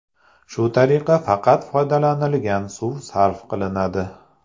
Shu tariqa faqat foydalanilgan suv sarf qilinadi.